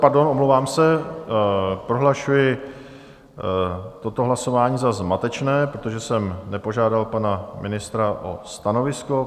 Pardon, omlouvám se, prohlašuji toto hlasování za zmatečné, protože jsem nepožádal pana ministra o stanovisko.